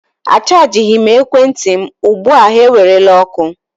Achajighị m ekwentị m ugbu a ha ewerela ọkụ.